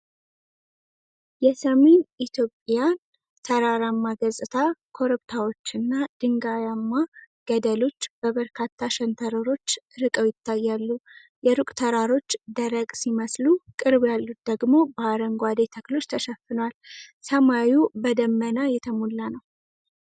የሰሜን ኢትዮጵያን ተራራማ ገጽታ ። ኮረብታዎችና ድንጋያማ ገደሎች በበርካታ ሸንተረሮች ርቀው ይታያሉ። የሩቅ ተራሮች ደረቅ ሲመስሉ፣ ቅርብ ያሉት ደግሞ በአረንጓዴ ተክሎች ተሸፍነዋል። ሰማዩ በደመና የተሞላ ነው።